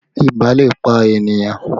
Ibà lè pa ènìyàn